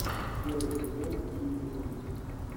первый сезон фильм безумцы